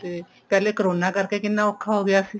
ਤੇ ਪਹਿਲੇ corona ਕਰਕੇ ਕਿੰਨਾ ਔਖਾ ਹੋ ਗਿਆ ਸੀ